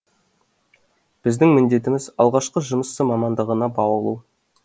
біздің міндетіміз алғашқы жұмысшы мамандығына баулу